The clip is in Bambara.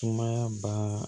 Sumaya baa